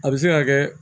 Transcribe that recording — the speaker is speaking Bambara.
A bɛ se ka kɛ